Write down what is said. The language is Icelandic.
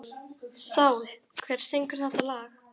Sál, hver syngur þetta lag?